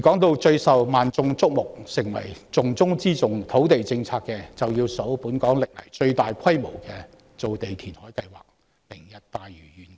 至於最受萬眾矚目、土地政策的重中之重，便要數本港歷來最大規模的造地填海計劃"明日大嶼願景"。